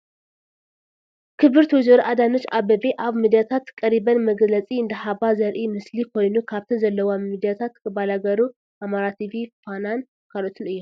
ክብርት ወይዘሮ አዳነች አበቤ አብ ምድያታት ቀሪበን መግለፂ እንዳ ሃባ ዘርኢ ምስሊ ኮይኑ ካብተን ዘለዋ ሚድያታት ባላገሩ፣ አማራ ቲቪ ፣ ፋናን ካልኦትን እዮም፡፡